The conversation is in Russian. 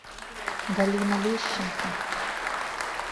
галина лещенко